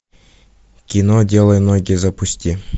кино делай ноги запусти